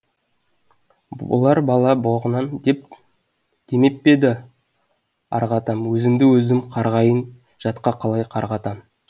болар бала боғынан демеп пе еді арғы атам өзімді өзім қарғайын жатқа қалай қарғатам